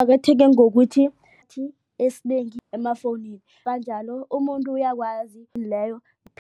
Kuqakatheke ngokuthi esinengi emafowunini kanjalo umuntu uyakwazi leyo.